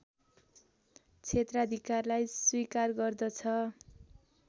क्षेत्राधिकारलाई स्वीकार गर्दछ